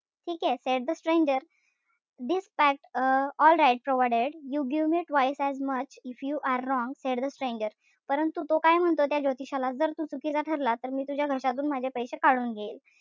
ठीकेय? Said the stranger this pact um alright provided you give me twice as much if you are wrong said the stranger परंतु तो काय म्हणतो त्या ज्योतिषाला जर तू चुकीचा ठरला तर मी तुझ्या घशातून माझे पैशे काढून घेईल.